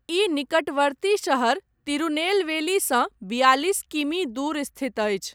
ई निकटवर्ती शहर तिरुनेलवेलीसँ बियालिस किमी दूर स्थित अछि।